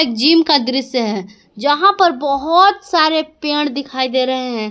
Gym का दृश्य है जहां पर बहुत सारे पेड़ दिखाई दे रहे हैं।